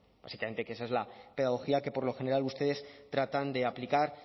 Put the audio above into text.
básicamente que esa es la pedagogía que por lo general ustedes tratan de aplicar